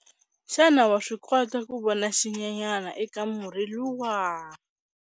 Xana wa swi kota ku vona xinyenyana eka murhi luwa?